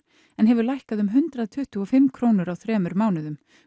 en hefur lækkað um hundrað tuttugu og fimm krónur á þremur mánuðum